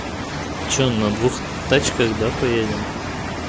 что на двух тачках да поедим